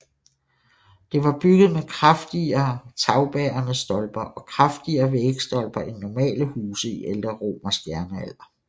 Det var bygget med kraftigere tagbærende stolper og kraftigere vægstolper end normale huse i ældre romersk jernalder